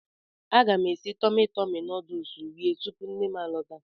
Aga m esi Tọmi Tọmi nuduls rie tupu nnem a lọta.